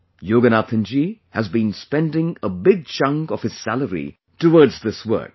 Yoganathanji has been spending a big chunk of his salary towards this work